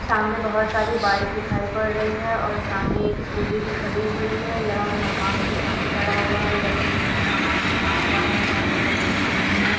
सामने बहोत सारी बाइक दिखाई पड़ रही हैं और सामने एक स्कूटी भी खड़ी हुई है। यह मकान के सामने खड़ा हुआ है। यह तीन मंजिल मकान बना हुआ है इसका कलर ग्रीन कलर में है।